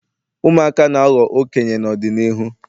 ụmụaka na-aghọ okenye n'ọdịnihu